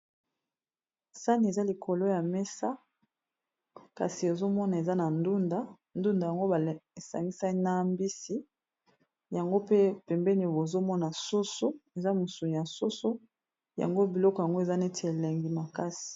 sani eza likolo ya mesa kasi ezomona eza na ndunda ndunda yango baesangisa nambisi yango pe pembeni bozomona soso eza mosu nya soso yango biloko yango eza neti elengi makasi